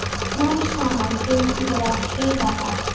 Smám saman fengum við að heyra það.